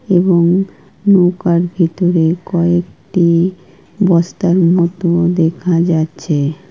এবং নৌকার ভিতরে কয়েকটি বস্তার মতো দেখা যাচ্ছে।